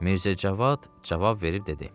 Mirzə Cavad cavab verib dedi: